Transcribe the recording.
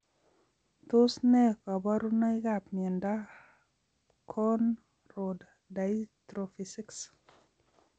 Tos ne kaborunoikab miondop cone rod dystrophy 6?